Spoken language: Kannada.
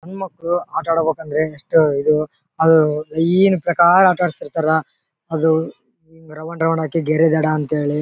ಹೆಣ್ಣು ಮಕ್ಕಳು ಆಟ ಆಡ್ಬೇಕು ಅಂದ್ರೆ ಎಷ್ಟು ಇದು ಅದು ಈ ಪ್ರಕಾರ ಆಟ ಆಡ್ತಿರ್ತಾರೆ. ಅದು ಹಿಂಗ್ ರೌಂಡ್ ರೌಂಡ್ ಅದಕ್ಕೆ ಗೆರೆ ದಡ ಅಂತ ಹೇಳಿ --